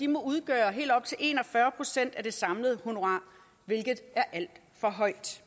må udgøre helt op til en og fyrre procent af det samlede honorar hvilket er alt for højt